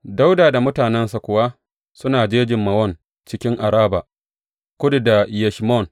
Dawuda da mutanensa kuwa suna jejin Mawon cikin Araba, kudu da Yeshimon.